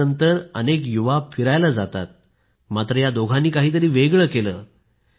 लग्नानंतर अनेक युवा फिरायला जातात मात्र या दोघांनी काहीतरी वेगळं केलं